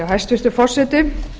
hæstvirtur forseti